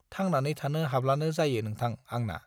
थांनानै थानो हाब्लानो जायो नोंथां आंना।